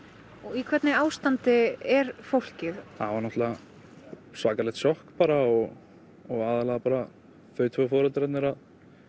í hvernig ástandi er fólkið það var náttúrulega svakalegt sjokk bara og og aðallega þau tvö foreldrarnir að